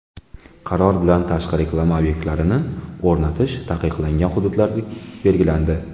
Qaror bilan tashqi reklama obyektlarini o‘rnatish taqiqlangan hududlar belgilandi.